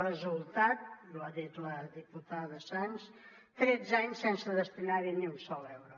resultat i ho ha dit la diputada sans tretze anys sense destinar hi ni un sol euro